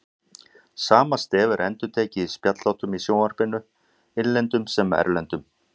Sama stef er endurtekið í spjallþáttum í sjónvarpinu, innlendum sem erlendum.